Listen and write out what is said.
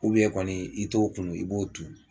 kɔni i t'o kunun i b'o tu